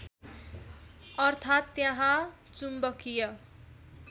अर्थात् त्यहाँ चुम्बकीय